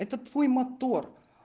это твой мотор